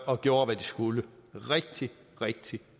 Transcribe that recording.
og gjorde hvad de skulle rigtig rigtig